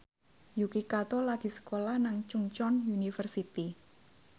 Yuki Kato lagi sekolah nang Chungceong University